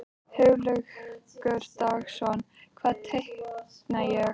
Hugleikur Dagsson: Hvað teikna ég?